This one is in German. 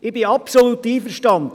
Ich bin absolut einverstanden: